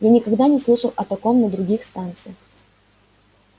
я никогда не слышал о таком на других станциях